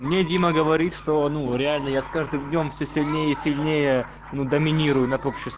мне дима говорит что ну реально я с каждым днём все сильнее и сильнее ну доминируй над обществом